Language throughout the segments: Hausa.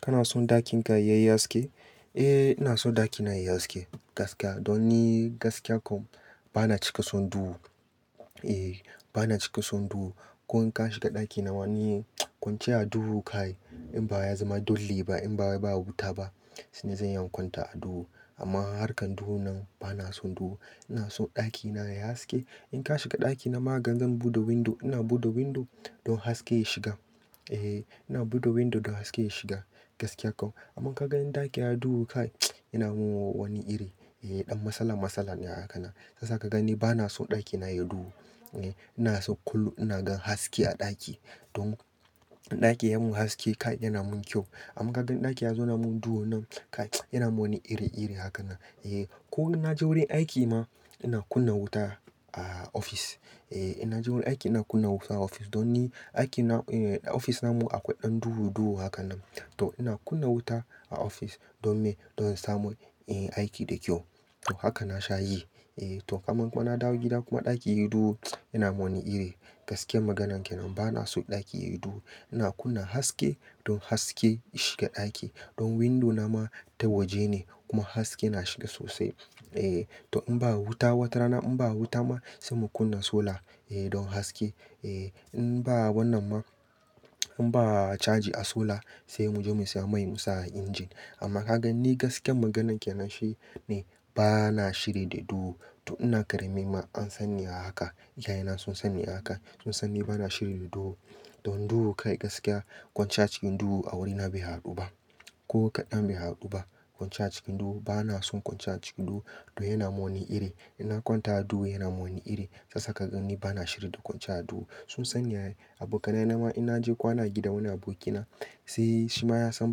Kana son ɗakin ka yayi haske? Eh ina so daki na yayi haske gaskiya. Don ni gaskiya ko bana cika son duhu. Eh bana cika son duhu. Ko in ka shiga ɗaki na wa ni kwanciya a duhu kai. In ba ya zama dole ba in ba baya wuta ba sannan zan iya in kwanta a duhu. Amma harkan duhun nan bana son duhu. Ina son ɗakina yayi haske. In ka shiga ɗakina ma gan zan buɗe window. Ina buɗe window don haske ya shiga. Eh ina buɗe window don haske ya shiga gaskiya kau. Amma kaga in ɗaki da duhu kai yana mun wani iri. Eh ɗan masala masala ne a haka na. Za kaga ni bana son ɗaki na yayi duhu. Eh ina son kullu ina ga haske a ɗaki. Don ɗaki yayi mun haske kai yana mun ƙyau. Amma kagan ɗaki ya zo na mun duhu nan kai yana mun wani iri iri haka na. Eh ko in naje wurin aiki ma ina kunna wuta a ofis. Eh ina je wurin aiki ina kunna wuta a ofis. Don ni aiki na ofis namu akwai ɗan duhu duhu hakan nan. To ina kunna wuta a ofis don me don in samu inyi aiki da ƙyau. Haka nasha yi. Eh to kaman ko nadawo gida kuma ɗaki yayi duhu yana mun wani iri. Gaskiyan maganan kenan bana so ɗaki yayi duhu. Ina kunna haske don haske ya shiga ɗaki. Don window na ma ta waje ne kuma haske na shiga sosai. Eh to in ba wuta wata rana in ba wuta ma sai mu kunna solar eh don haske. Eh in ba wannan ma in ba charge a solar sai muje mu siya mai mu sa a injin. Amma ka gan ni gaskiyan maganan kenan shi ne bana shiri da duhu. To ina karami ma an sanni a haka. Iyayena sun sani a haka. Sun sani bana shiri da duhu. Don duhu kai gaskiya kwanciya cikin duhu a wurina bai haɗu ba. Ko kaɗan bai haɗu ba. Kwanciya a cikin duhu bana son kwanciya a cikin duhu don yana mun wani iri. Inna kwanta a duhu yana mun wani iri. Sasa ka gan ni bana shiri da kwanciya a duhu. Sun sa ni ai. Abokanai na ma in naje kwana a gida wani abokina sai shima ya san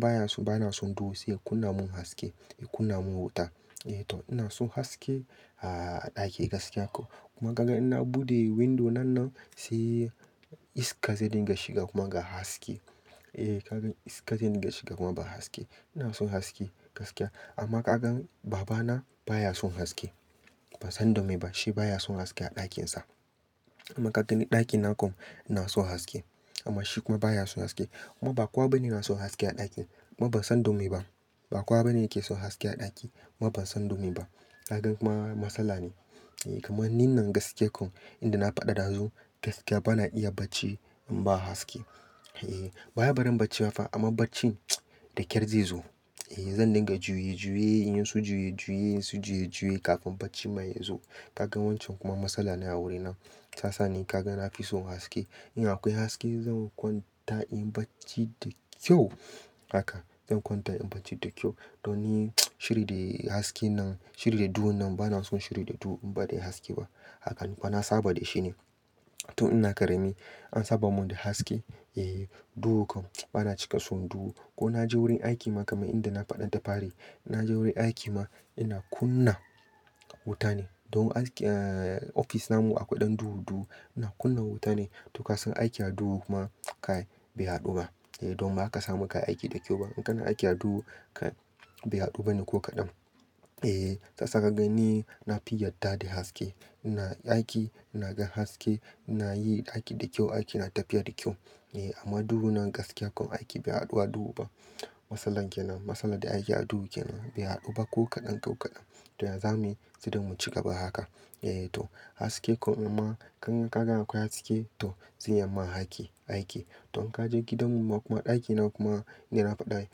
baya so bana son duhu sai ya kunna mun haske. Ya kunna mun wuta. Eh to ina son haske a ɗaki gaskiya kau. Kuma ka gan inna buɗe window nan nan sai iska zai dinga shiga kuma ga haske. Eh ka gan iska zai dinga shiga kuma ba haske. Ina son haske gaskiya. Amma ka gan babana baya son haske. Bansan don me bashi ba ya son haske a ɗakinsa. Amma kaga ni ɗakina kom ina son haske. Amma shi kuma baya son haske. Kuma ba kowa bane na son haske a ɗaki. Ma bansan don me ba. Ba kuwa bane yake son haske a ɗaki. Kuma bansan don me ba. Kaga kuma masala ne. Eh kaman ni nan gaskiya kom inda na faɗa dazu gaskiya bana iya bacci in ba haske. Eh baya barin bacci ma fa amma bacci da kyar zai zo. Eh zan dinga juye juye inyi su juye juye in su juye juye kafin bacci ma ya zo. Ka gan wancan kuma masala ne a wuri na. Ta sani kaga nafi son haske. In akwai haske zan kwanta inyi bacci da kyau haka. Zan kwanta in bacci da kyau. Don ni shiri de haske nan shiri da duhu nan bana son shiri da duhu in ba dai haske ba. Hakane ba saba dashi ne. Tun ina ƙarami an saba mun da haske. Eh duhu kom bana cika son duhu. Ko naje wurin aiki ma kaman inda na faɗa da fari. Naje wurin aiki ma ina kunna wuta ne. Don aski ah ofis namu akwai ɗan duhu duhu. Ina kunna wuta ne. To ka san aiki a duhu kuma kai bai haɗu ba. Eh don ma kasamu kayi aiki da ƙyau ba. In kana aiki a duhu kai bai haɗu bane ko kaɗan. Eh sasa kaga ni nafi yadda da haske. Ina aiki ina ga haske ina yi aiki da ƙyau. Aiki na tafiya da ƙyau. Eh amma duhu nan gaskiya kom aiki bai haɗu a duhu ba. Masalan kenan masala da aiki a duhu kenan bai haɗu ba ko kaɗan ko kaɗan. To ya zamuyi sai dai mu cigaba haka. Eh to haske kom in ma kagan akwai haske to zai iya ma aiki aiki. To in kaje gidan mu ma kuma ɗakina kuma inda na faɗa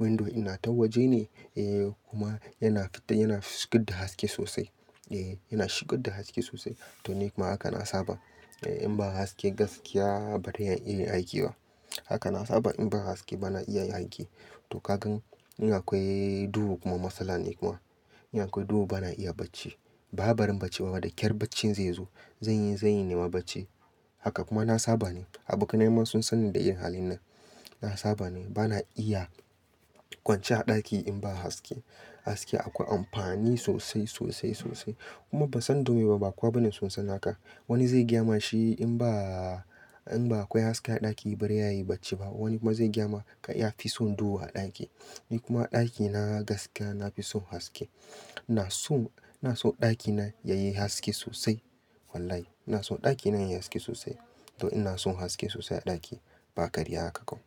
window ina ta waje ne. Eh kuma yana fita yana shigar da haske sosai. Eh yana shigar da haske sosai. To ni kuma haka na saba. Eh in ba haske gaskiya baran iya yin aiki ba. Haka na saba in ba haske bana iya yin aiki. To ka gan in akwai duhu kuma matsala ne kuma. In akwai duhu bana iya bacci. Ba wai baren bacci ba ma daƙyar baccin zai zo. Zanyi zanyi nema bacci. Haka kuma na saba ne. Abokanai ma sun sani da yin halin nan. Na saba ne. Bana iya kwanciya a ɗaki in ba haske. Haske akwai amfani sosai sosai sosai. Kuma bansan don me ba ba kowa bane sun sanni haka. Wani zai gyama shi in ba in ba akwai haske a ɗaki bare yayi bacci ba. Wani kuma zai gyama kai yafi son duhu a ɗaki. Ni kuma ɗakina gaskiya nafi son haske. Ina son ina son ɗakina yayi haske sosai. Wallahi ina son ɗakina yayi haske sosai. To ina son haske sosai a ɗaki ba ƙarya haka kom.